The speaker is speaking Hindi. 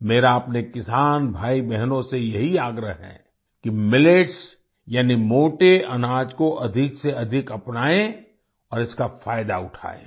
मेरा अपने किसान भाईबहनों से यही आग्रह है कि मिलेट्स यानी मोटे अनाज को अधिकसेअधिक अपनाएं और इसका फायदा उठाएं